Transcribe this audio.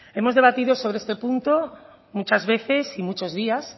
hemos debatido sobre este punto muchas veces y muchos días